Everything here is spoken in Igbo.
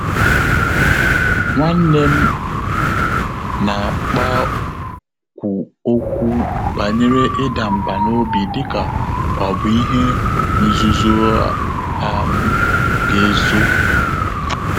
Nwá nnè m nà-àkpákwù òkwú bànyèrè ị́dà mbà n’óbí dị́kà ọ́ bụ́ ìhè nzùzò á um gà-èzò.